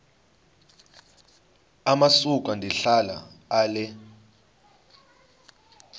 amasuka ndihlala ale